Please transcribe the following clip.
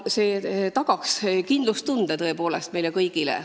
See tagaks kindlustustunde tõepoolest meile kõigile.